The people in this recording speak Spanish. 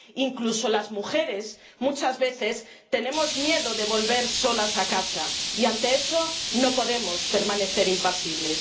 incluso las mujeres, muchas veces, tenemos miedo de volver solas a casa, y ante eso no podemos permanecer impasibles.